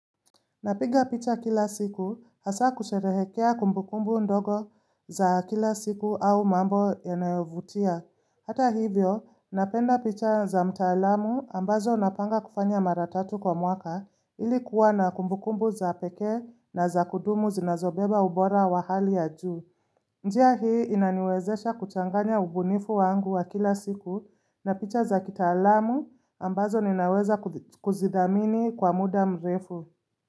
Napiga picha kila siku hasa kusherehekea kumbu kumbu ndogo za kila siku au mambo yanayovutia. Hata hivyo, napenda picha za mtaalamu ambazo napanga kufanya mara tatu kwa mwaka ili kuwa na kumbubkumbu za pekee na za kudumu zinazobeba ubora wa hali ya juu. Njia hii inaniwezesha kuchanganya ubunifu wangu wa kila siku na picha za kitalamu ambazo ninaweza ku kuzidhamini kwa muda mrefu.